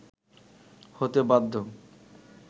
হতে বাধ্য